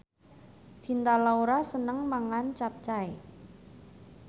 Cinta Laura seneng mangan capcay